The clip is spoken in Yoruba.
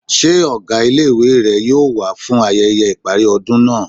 Ṣé ọgá ilé-ìwé rẹ yóò wá fún ayẹyẹ ìparí ọdún náà?